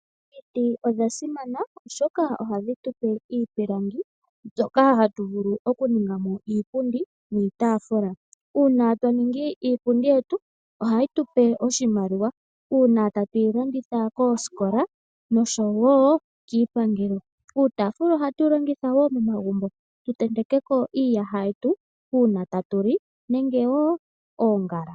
Omiti odha simana oshoka ohadhi tu pe iipilangi mbyoka hatu vulu okuninga mo iipundi niitaafula. Uuna twa ningi iipundi yetu ohayi tu pe oshimaliwa, uuna tatu yi landitha koosikola noshowo kiipangelo. Uutaafula ohatu wu longitha wo momagumbo, tu tenteke ko iiyaha yetu, uuna tatu li nenge wo oongala.